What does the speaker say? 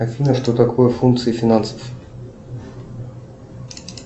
афина что такое функции финансов